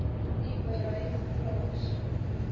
u bereik plaas